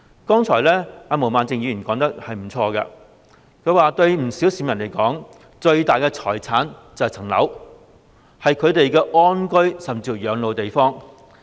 剛才毛孟靜議員說得沒錯，對不少市民而言，他們最大的財產便是自己的物業，是他們安居甚至是養老的地方。